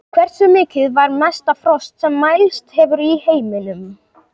Hversu mikið var mesta frost sem mælst hefur í heiminum?